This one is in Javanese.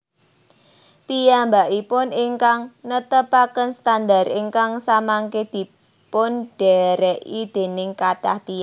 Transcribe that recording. Piyambakipun ingkang netepaken standar ingkang samangke dipundhèrèki dèning kathah tiyang